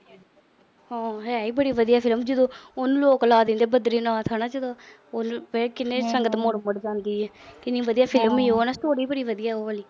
ਹੈ ਈ ਬੜੀ ਵਧੀਆ film । ਜਦੋਂ ਉਹਨੂੰ lock ਲਾ ਦਿਨੇ ਆ ਬਦਰੀਨਾਥ ਆ ਨਾ ਜਗਾ। ਕਿੰਨੀ ਸੰਗਤ ਮੁੜ-ਮੜ ਜਾਂਦੀ ਆ। ਕਿੰਨੀ ਵਧੀਆ film ਆ ਨਾ। ਬੜੀ ਵਧੀਆ ਉਹ ਵਾਲੀ।